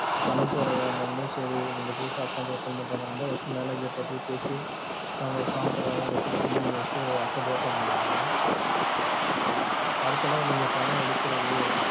பணம் போட வந்தாலுமே சேரி நீங்க புதுசா account open பண்ற மாதிரி இருந்தா, first டு manager ட போய் பேசி, அவுங்க ஒரு form தருவாங்க அத fill பண்ணி நீங்க first account open பண்ணிடனும் அடுத்த தடவ நீங்க பணம் எடுக்குறது